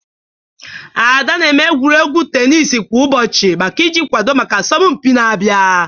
Ada na-eme egwuregwu tenis kwa ụbọchị maka iji kwado maka asọmpi na-abịa.